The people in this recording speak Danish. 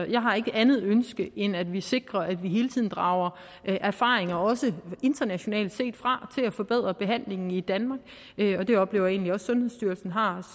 jeg har ikke andet ønske end at vi sikrer at vi hele tiden drager erfaringer også internationalt set til at forbedre behandlingen i danmark og det oplever jeg egentlig også sundhedsstyrelsen har